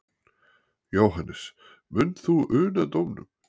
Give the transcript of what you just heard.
Jóhannes: Munt þú una dómnum?